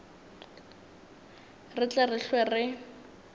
re tle re hlwe re